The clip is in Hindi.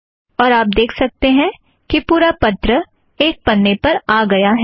और आप देख सकते हैं कि पूरा पत्र एक पन्ने पर आ गया है